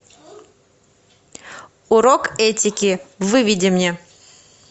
урок этики выведи мне